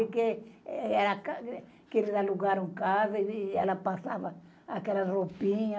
que eles alugaram casa e, e ela passava aquelas roupinhas.